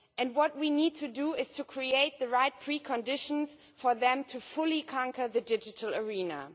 What we need to do is to create the right preconditions for them to fully conquer the digital arena.